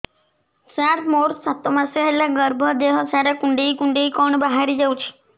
ସାର ମୋର ସାତ ମାସ ହେଲା ଗର୍ଭ ଦେହ ସାରା କୁଂଡେଇ କୁଂଡେଇ କଣ ବାହାରି ଯାଉଛି